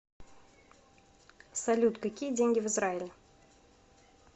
салют какие деньги в израиле